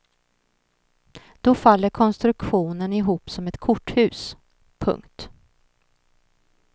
Då faller konstruktionen ihop som ett korthus. punkt